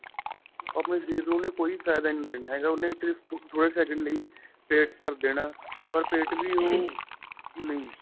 ਆਪਣੇਂ ਸ਼ਰੀਰ ਨੂੰ ਉਹਨੇ ਕੋਈ ਫਾਇਦਾ ਨਹੀਂ ਦੇਣਾ ਸਿਰਫ਼ ਥੋੜੇ second ਲਈ ਪੇਟ ਭਰ ਦੇਣਾ ਪਰ ਪੇਟ ਵੀ ਉਹ ਨਹੀਂ